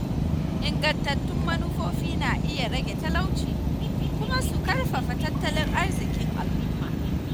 Ingantattun manufofi na iya rage talauci kuma su ƙarfafa tattalin arziƙin al’umma.